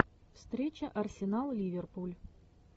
встреча арсенал ливерпуль